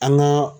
An ka